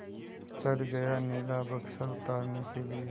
चढ़ गया नीला बक्सा उतारने के लिए